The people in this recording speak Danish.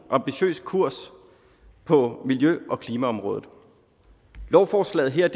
ambitiøs kurs på miljø og klimaområdet lovforslaget her